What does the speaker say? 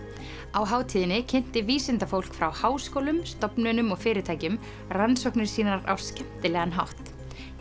á hátíðinni kynnti vísindafólk frá háskólum stofnunum og fyrirtækjum rannsóknir sínar á skemmtilegan hátt